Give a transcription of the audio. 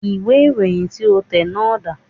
Ìwé ìròyìn tí o tẹ̀ náà dà